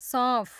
सौँफ